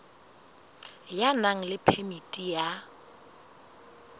ya nang le phemiti ya